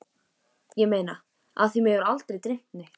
Ég meina af því mig hefur aldrei dreymt neitt.